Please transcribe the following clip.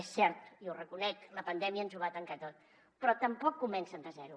és cert jo ho reconec la pandèmia ens ho va tancar tot però tampoc comencen de zero